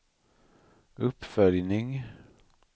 uppföljning